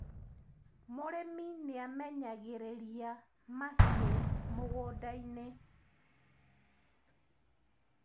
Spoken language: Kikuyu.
mũrĩmi nĩamenyagiriria mahiũ mũgũnda-inĩ